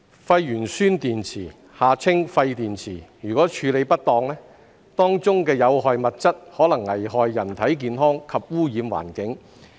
廢鉛酸蓄電池如處理不當，當中的有害物質可能危害人體健康及污染環境。